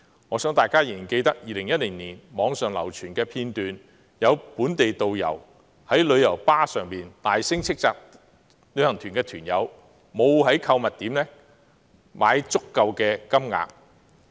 我相信大家仍然記得2010年網上流傳的一段影片，有本地導遊在旅遊巴士上大聲斥責旅行團團友沒有在購物點消費足夠金額。